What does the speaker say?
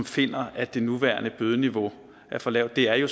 finder at det nuværende bødeniveau er for lavt det er jo